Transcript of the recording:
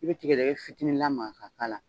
I bɛ tigɛdɛgɛ fitinin lamaga ka k'a la.